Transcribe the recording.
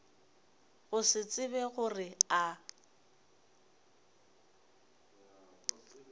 go se tsebe gore a